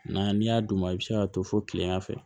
N'a n'i y'a d'u ma i bi se ka to fo kilegan fɛ